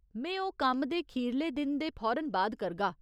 में ओह् कम्म दे खीरले दिन दे फौरन बाद करगा।